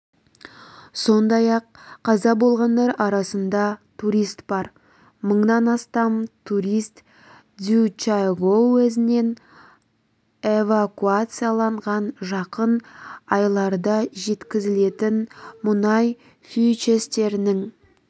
сондай-ақ қаза болғандар арасында турист бар мыңнан астам турист цзючжайгоу уезінен эвакуацияланған жақын айларда жеткізілетін мұнай фьючерстерінің